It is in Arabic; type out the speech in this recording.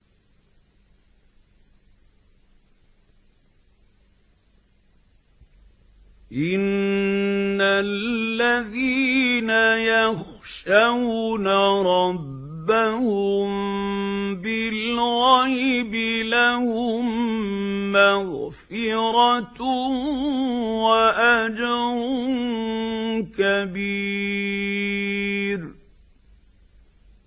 إِنَّ الَّذِينَ يَخْشَوْنَ رَبَّهُم بِالْغَيْبِ لَهُم مَّغْفِرَةٌ وَأَجْرٌ كَبِيرٌ